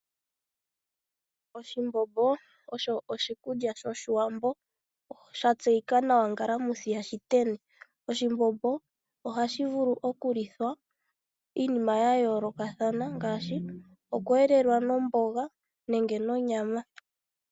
Oshimbombo osho oshikulya shoshiwambo, sha tseyika nawa, ngalamwithi yashiteni. Oshimbombo oha shi vulu oku lithwa iinima ya yooloka ngaashi, oku elelwa nomboga nenge nonyama.